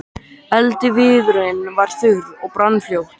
Eldiviðurinn var þurr og brann fljótt.